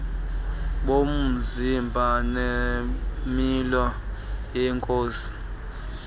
bomzimba nemilo yenkosi